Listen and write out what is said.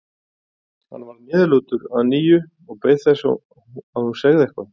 Hann varð niðurlútur að nýju og beið þess að hún segði eitthvað.